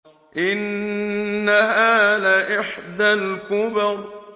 إِنَّهَا لَإِحْدَى الْكُبَرِ